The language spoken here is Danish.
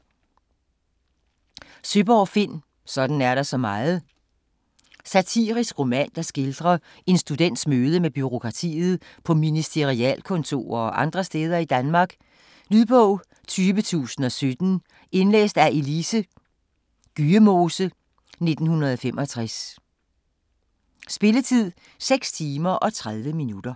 Søeborg, Finn: Sådan er der så meget Satirisk roman, der skildrer en students møde med bureaukratiet på ministerialkontorer og andre steder i Danmark. Lydbog 20017 Indlæst af Else Gyemose, 1965. Spilletid: 6 timer, 30 minutter.